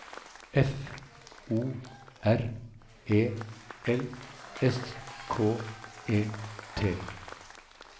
F O R E L S K E T